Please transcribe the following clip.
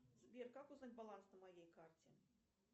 сбер как узнать баланс на моей карте